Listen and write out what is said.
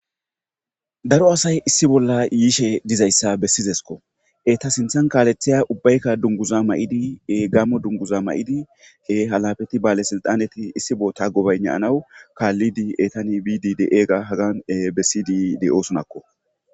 daro asay issi bolla yiishe dizayssa bessizesko eta sinthan kaalethiya ubbaykka dunguza ma7idi gammo dunguza ma7idi ke halafeti baale silxaneti issibo ta gobaynaanawu kaallidi etani bidi de ega hagan bessidi de7oo sunakko